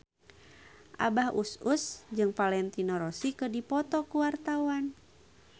Abah Us Us jeung Valentino Rossi keur dipoto ku wartawan